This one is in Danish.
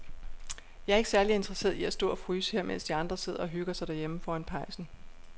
Jeg er ikke særlig interesseret i at stå og fryse her, mens de andre sidder og hygger sig derhjemme foran pejsen.